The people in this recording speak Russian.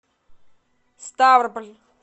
ставрополь